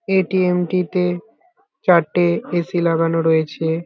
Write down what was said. ATM. টিতে চারটে AC. লাগানো রয়েছে।